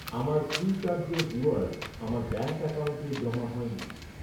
আমার ফ্রিচার্জের রিওয়ার্ড আমার ব্যাঙ্ক অ্যাকাউন্টে জমা হয়নি।